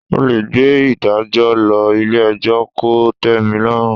O lè gbé ìdájọ́ lọ ilé ẹjọ́ kò tẹ́milọ́rùn.